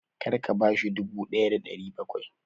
Kar ka bashi dubu ɗaya da ɗari bakwai!